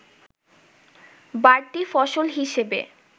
বাড়তি ফসল হিসেবে